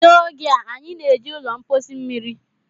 N'oge a, anyị na-eji ụlọ mposi mmiri